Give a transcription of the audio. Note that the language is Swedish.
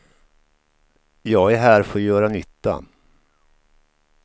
Jag är här för att göra nytta.